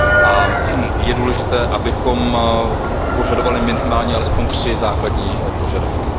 A je důležité, abychom požadovali minimálně alespoň tři základní požadavky.